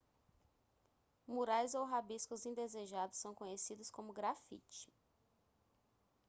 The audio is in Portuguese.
murais ou rabiscos indesejados são conhecidos como grafite